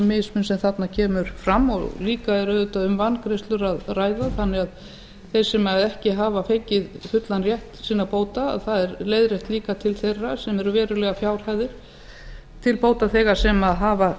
mismun sem þarna kemur fram og líka er auðvitað um vangreiðslur að ræða þannig að þeir sem ekki hafa fengið fullan rétt sinna bóta að það er leiðrétt líka til þeirra sem eru verulegar fjárhæðir til bótaþega sem hafa